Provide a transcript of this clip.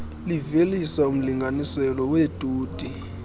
livelisa umlinganiselo weetoni